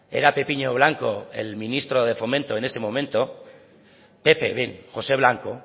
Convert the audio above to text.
era pepiño blanco el ministro de fomento en ese momento pepe josé blanco